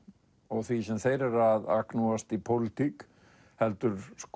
og því sem þeir eru að agnúast í pólitík heldur